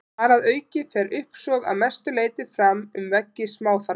Þar að auki fer uppsog að mestu leyti fram um veggi smáþarma.